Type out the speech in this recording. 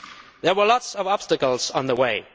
There were lots of obstacles along the way.